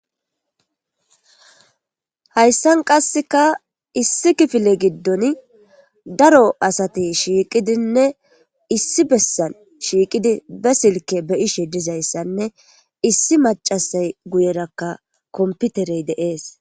hayssan qasseka issi kifile giddon daro asati shiiqidinne issi bessan shiiqidi be silke be ishe dizayssanne issi macasay guyerakka komputerey deees